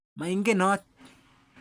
Mai ngenot.